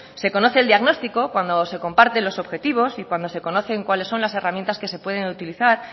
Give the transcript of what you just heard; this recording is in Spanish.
se conoce el diagnóstico que cuando se comparte los objetivos y cuando se conocen cuáles son las herramientas que se pueden utilizar